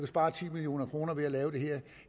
spare ti million kroner ved at lave det her